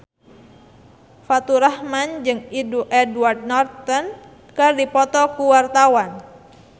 Faturrahman jeung Edward Norton keur dipoto ku wartawan